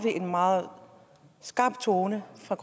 en meget skarp tone fra